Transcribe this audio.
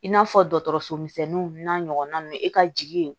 I n'a fɔ dɔgɔtɔrɔsomisɛnninw n'a ɲɔgɔna ninnu e ka jigi ye